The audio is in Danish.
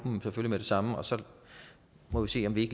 dem med det samme og så må vi se om vi